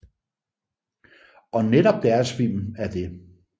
Og netop deres film er det